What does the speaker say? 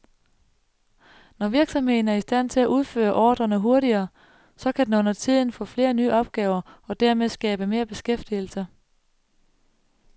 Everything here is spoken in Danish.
Når virksomheden er i stand til at udføre ordrerne hurtigere, så kan den under tiden få flere nye opgaver og dermed skabe mere beskæftigelse.